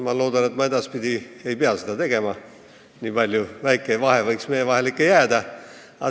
Ma loodan, et ma edaspidi ei pea seda tegema, väike vahe võiks meie vahele ikka jääda.